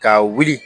Ka wuli